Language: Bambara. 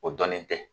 O dɔnnen tɛ